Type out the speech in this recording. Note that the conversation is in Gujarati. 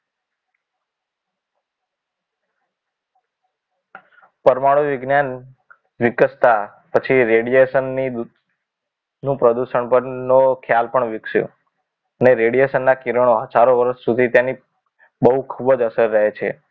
પરમાણુ વિજ્ઞાન વિકસતા પછી radiation ની નું પ્રદૂષણનો ખ્યાલ પણ વિકસ્યો અને radiation ના કિરણો હજારો વર્ષ સુધી તેની બહુ ખૂબ જ અસર રહે છે